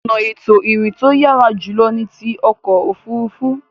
Ọ̀nà ètò ìrìn to yàrá jùlọ ni ti ọkọ̀ òfuurufú.